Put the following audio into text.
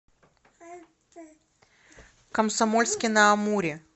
комсомольске на амуре